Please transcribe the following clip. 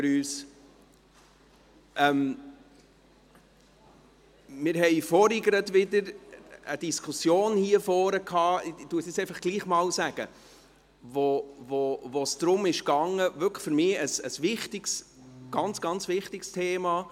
Wir hatten vorhin wieder eine Diskussion hier vorne – ich sage es nun trotzdem einmal –, in der es um Folgendes ging – für mich wirklich ein ganz, ganz wichtiges Thema: